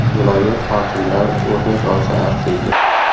Viloyat hokimlari o‘rnak olsa arziydi.